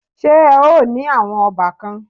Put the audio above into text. Ṣé o ní àwọn ọbàkan?